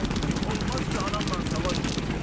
Mən gün olmaz ki, anamla savaşmayım.